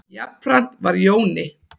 Jafnframt var Jóni